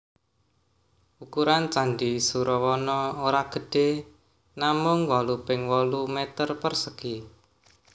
Ukuran Candi Surawana ora gedhé namung wolu ping wolu meter persegi